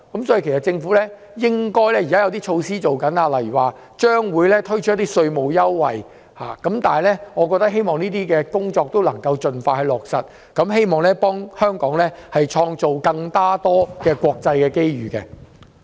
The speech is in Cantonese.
政府現正準備推出一些措施，例如將會推出稅務優惠，我希望這些工作盡快落實，為香港創造更多國際機遇。